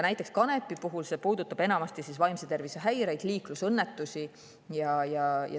Näiteks kanepi puhul see puudutab enamasti vaimse tervise häireid ja liiklusõnnetusi.